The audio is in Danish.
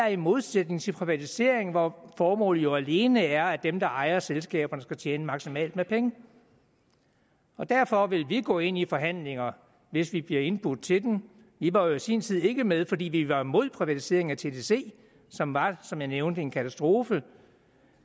i modsætning til privatisering hvor formålet jo alene er at dem der ejer selskaberne skal tjene maksimalt med penge derfor vil vi gå ind i forhandlingerne hvis vi bliver indbudt til dem vi var jo i sin tid ikke med fordi vi var imod privatiseringen af tdc som var som jeg nævnte en katastrofe